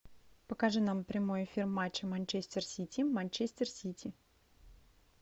покажи нам прямой эфир матча манчестер сити манчестер сити